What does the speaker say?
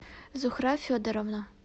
зухра федоровна